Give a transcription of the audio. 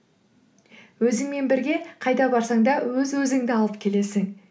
өзіңмен бірге қайда барсаң да өз өзіңді алып келесің